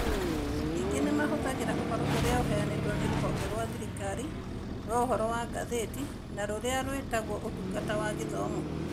Ningĩ nĩ mahũthagĩra ũhoro ũrĩa ũheanĩtwo nĩ Rũhonge rwa Thirikari rwa Ũhoro wa Ngathĩti na rũrĩa rwĩtagwo Ũtungata wa Gĩthomo.